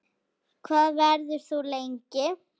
Hvað verður þú lengi?